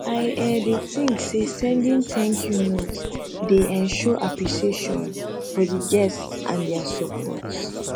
i um dey think say sending thankyou notes dey um show appreciation for di guests and dia support